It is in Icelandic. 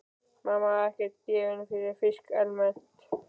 Mamma var ekkert gefin fyrir fisk almennt.